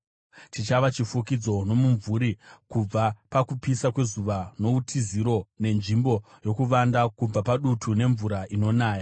Chichava chifukidzo nomumvuri kubva pakupisa kwezuva, noutiziro, nenzvimbo yokuvanda kubva padutu nemvura inonaya.